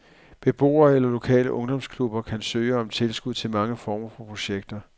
Beboere eller lokale ungdomsklubber kan søge om tilskud til mange former for projekter.